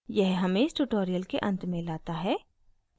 यह हमें इस tutorial के अंत में लाता है